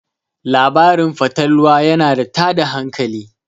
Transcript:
labarin fatalwa yana tada hankali